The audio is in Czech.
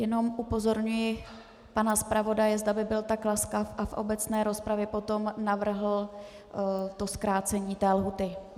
Jenom upozorňuji pana zpravodaje, zda by byl tak laskav a v obecné rozpravě potom navrhl to zkrácení té lhůty.